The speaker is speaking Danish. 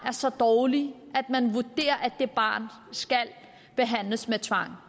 er så dårligt at man vurderer at det barn skal behandles med tvang